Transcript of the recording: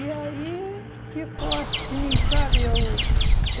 E aí ficou assim, sabe? Eu